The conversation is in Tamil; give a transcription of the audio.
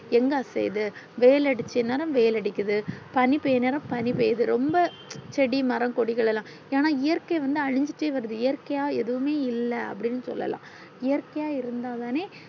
எங்க அசையுது வெயில் அடிச்ச நேரம் வெயில் அடிக்குது பணி பேயர நேரம் பணி பேயுது ரொம்ப செடி மர கொடிகள்ளாம் ஆனா இயற்க்கை வந்து அளிச்சிட்டே வருது இயற்க்கையா எதுமே இல்ல அப்டின்னு சொல்லலா இயற்க்கையா இருந்தா தான